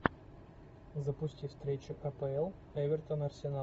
запусти встречу апл эвертон арсенал